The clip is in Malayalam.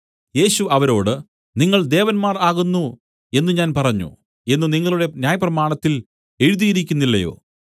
യേശു അവരോട് നിങ്ങൾ ദേവന്മാർ ആകുന്നു എന്നു ഞാൻ പറഞ്ഞു എന്നു നിങ്ങളുടെ ന്യായപ്രമാണത്തിൽ എഴുതിയിരിക്കുന്നില്ലയോ